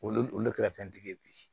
Olu olu kɛra fɛntigi ye bi